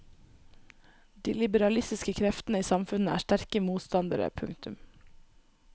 De liberalistiske kreftene i samfunnet er sterke motstandere. punktum